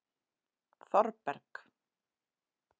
Þorberg